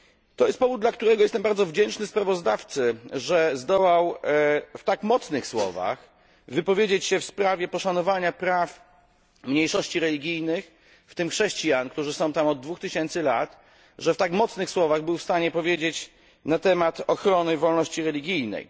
To jest powód, dla którego jestem bardzo wdzięczny sprawozdawcy, że zdołał w tak mocnych słowach wypowiedzieć się w sprawie poszanowania praw mniejszości religijnych, w tym chrześcijan, którzy są tam od 2000 lat, że w tak mocnych słowach był w stanie powiedzieć na temat ochrony wolności religijnej.